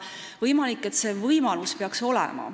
Võimalik, et see võimalus peaks olema.